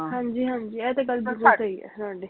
ਹਾਂਜੀ ਹਾਂਜੀ ਇਹ ਤੇ ਗੱਲ ਬਿਲਕੁਲ ਸਹੀ ਐ ਤੁਹਾਡੀ